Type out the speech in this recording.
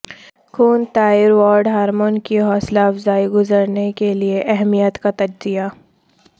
خون thyroid hormone کی حوصلہ افزائی گزرنے کے لئے اہمیت کا تجزیہ